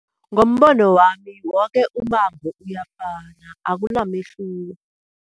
Ngombono wami, woke ummango uyafana, akunamehluko.